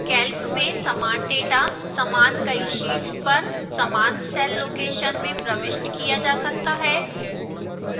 calc में समान data समान कई शीट्स पर समान cell location में प्रविष्ट किया जा सकता है